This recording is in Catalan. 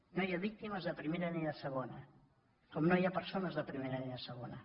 no hi ha víctimes de primera ni de segona com no hi ha persones de primera ni de segona